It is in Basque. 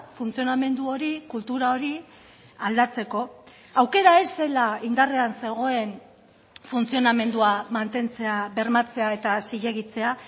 funtzionamendu hori kultura hori aldatzeko aukera ez zela indarrean zegoen funtzionamendua mantentzea bermatzea eta zilegitzea